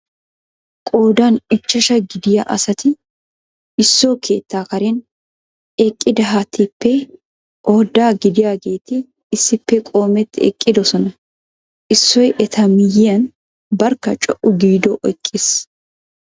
Qoodan ichashsha gidiyaa asati isso keettaa karen eqqidaaheetippe oudda gidiyaageeti issippe qoometi eqqidoosona issoy eta miyyiyan barkka co"u giido eqqiis.